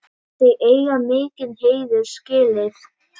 Þau eiga mikinn heiður skilið.